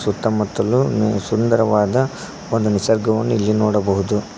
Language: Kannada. ಸುತ್ತಮುತ್ತಲು ಸುಂದರವಾದ ಒಂದು ನಿಸರ್ಗವನ್ನು ಇಲ್ಲಿ ನೋಡಬಹುದು.